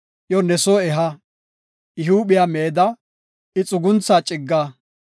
iyo ne soo eha. I huuphiya meeda; I xuguntha cigga;